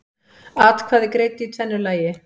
Atkvæði greidd í tvennu lagi